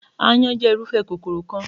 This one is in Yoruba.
Aáyán jẹ́ irúfẹ́ kòkòrò kan.